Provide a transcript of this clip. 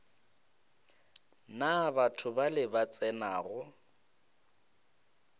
na batho bale ba tsenago